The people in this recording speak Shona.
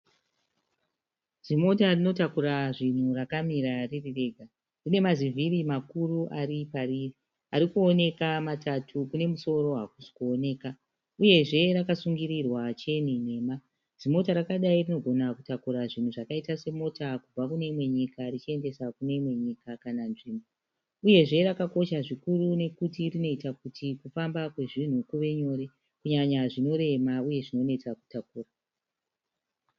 Zimota rinotakura zvinhu rakamira ririrega. Rinemazivhiri makauru ari pariri arikuoneka matatu kunemusoro hakusi kuoneka. Uyezve rakasungirwa cheni nhema. Zimota rakadai rinogona kutakura zvinhu zvakaita mota kubva kune imwe nyika richiendesa kune imwe nyika kana nzvimbo. Uyezve rakakosha nekuti rinoita kuti kufamba kwezvinhu kuve nyore kunyanya zvinorema uye zvinonetsa kutakura.